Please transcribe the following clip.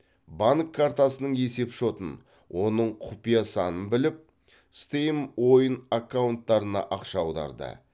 банк картасының есепшотын оның құпия санын біліп стейм ойын аккаунттарына ақша аударды